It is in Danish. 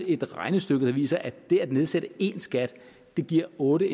et regnestykke der viser at det at nedsætte én skat giver otte